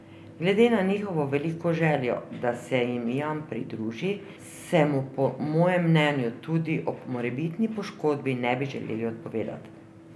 Glede na njihovo veliko željo, da se jim Jan pridruži, se mu po mojem mnenju tudi ob morebitni poškodbi ne bi želeli odpovedati.